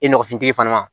E nɔgɔfin fana